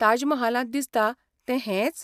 ताज महालांत दिसता तें हेंच?